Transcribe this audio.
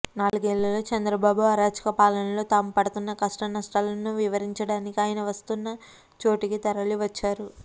నాలుగేళ్ల చంద్రబాబు అరాచక పాలనలో తాము పడుతున్న కష్టనష్టాలను వివరించడానికి ఆయన వస్తున్న చోటికి తరలివచ్చారు